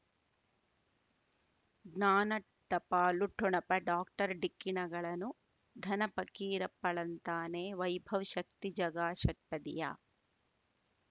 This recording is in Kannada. ಜ್ಞಾನ ಟಪಾಲು ಠೊಣಪ ಡಾಕ್ಟರ್ ಢಿಕ್ಕಿ ಣಗಳನು ಧನ ಫಕೀರಪ್ಪ ಳಂತಾನೆ ವೈಭವ್ ಶಕ್ತಿ ಝಗಾ ಷಟ್ಪದಿಯ